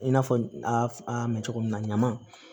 I n'a fɔ a mɛ cogo min na ɲaman